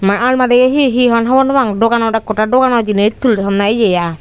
ma almari o he hon hobor no pang doganot ek hoday dogano jinich tule thonne yea aai.